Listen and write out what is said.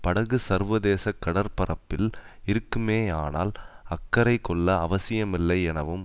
படகு சர்வதேச கடற்பரப்பில் இருக்குமேயானால் அக்கறைகொள்ள அவசியமில்லை எனவும்